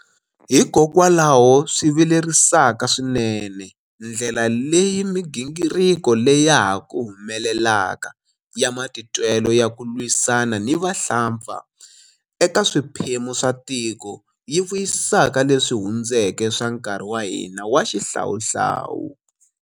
Hikokwalaho swi vilerisaka swinene ndlela leyi migingiriko leya ha ku humelelaka ya matitwelo ya ku lwisana ni vahlampfa eka swiphemu swa tiko yi vuyisaka leswi hundzeke swa nkarhi wa hina wa xihlawuhlawu.